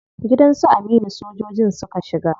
Gidan su Aminu sojojin suka shiga.